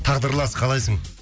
тағдырлас қалайсың